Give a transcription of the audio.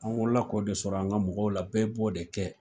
An wolo la k'o de sɔrɔ an ka mɔgɔw la bɛɛ b'o de kɛ.